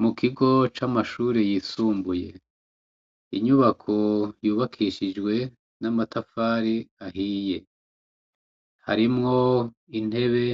Mu kigo c'amashure yisumbuye. Inyubako yubakishijwe n'amatafari ahiye. Harimwo intebe